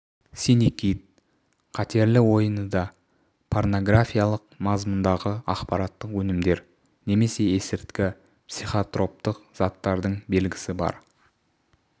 синий кит қатерлі ойыны да парнографиялық мазмұндағы ақпараттық өнімдер немесе есірткі психотроптық заттардың белгісі бар